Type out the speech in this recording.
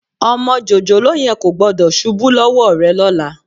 Ọmọ jòjòló yẹn kò gbọ́dọ̀ ṣubú lọ́wọ́ rẹ lọ́la